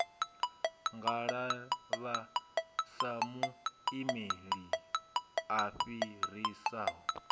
ngalavha sa muimeli a fhirisaho